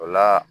O la